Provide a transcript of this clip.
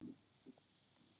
Svo sástu Siggu.